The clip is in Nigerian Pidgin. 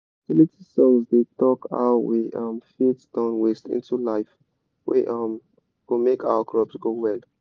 fertility songs dey talk how we um fit turn waste into life wey um go make our crops grow well.